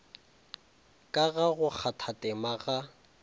ka ga go kgathatema ga